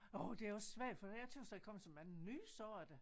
Orh det er også svært fordi jeg tøs der er kommet så mange nye sorter